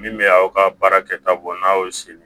Min bɛ aw ka baarakɛta bɔ n'a y'o sili